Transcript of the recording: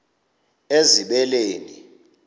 ezibeleni